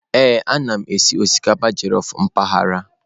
Ee, ana m eme osikapa jellof mpaghara.